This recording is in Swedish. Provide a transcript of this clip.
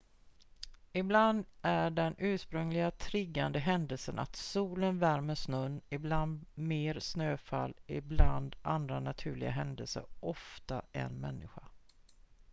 ibland är den ursprungliga triggande händelsen att solen värmer snön ibland mer snöfall ibland andra naturliga händelser ofta en människa